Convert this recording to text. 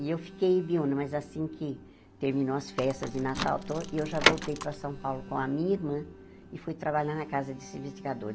E eu fiquei, mas assim que terminou as festas de Natal to, e eu já voltei para São Paulo com a minha irmã e fui trabalhar na casa desse investigador.